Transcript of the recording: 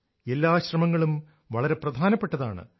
എല്ലാ ശ്രമങ്ങളും വളരെ പ്രധാനപ്പെട്ടതാണ്